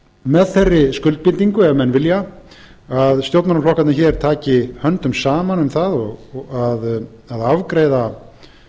með þeirri skuldbindingu ef menn vilja að stjórnmálaflokkarnir hér taki höndum saman um það að afgreiða